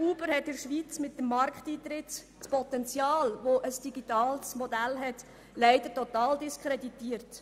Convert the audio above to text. Uber hat mit seinem Markteintritt in der Schweiz das Potential eines digitalen Modells leider total diskreditiert.